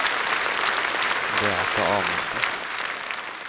Beate Amundsen